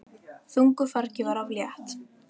Þungu fargi var af mér létt!